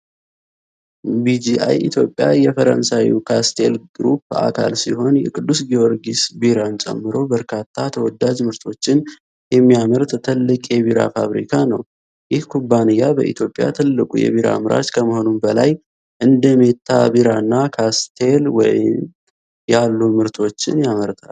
ቢጂአይ ኢትዮጵያ የፈረንሳዩ ካስቴል ግሩፕ አካል ሲሆን፣ የቅዱስ ጊዮርጊስ ቢራን ጨምሮ በርካታ ተወዳጅ ምርቶችን የሚያመርት ትልቅ የቢራ ፋብሪካ ነው። ይህ ኩባንያ በኢትዮጵያ ትልቁ የቢራ አምራች ከመሆኑም በላይ፣ እንደ ሜታ ቢራና ካስቴል ወይን ያሉ ምርቶችን ያመርታል።